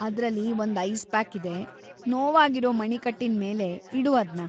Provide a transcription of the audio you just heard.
ಅದ್ರಲ್ಲಿ ಒಂದ್‌ ice pack ಇದೆ, ನೋವಾಗಿರೋ ಮಣಿಕಟ್ಟಿನ್ಮೇಲೆ ಇಡು ಅದ್ನ.